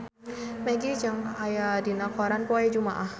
Maggie Cheung aya dina koran poe Jumaah